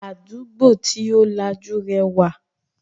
Àdúgbò tí ó lajú rẹwà